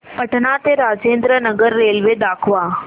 पटणा ते राजेंद्र नगर रेल्वे दाखवा